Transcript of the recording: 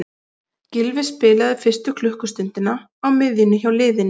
Gylfi spilaði fyrstu klukkustundina á miðjunni hjá liðinu.